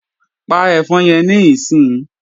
Pa ẹ̀fọn yẹn níìsín!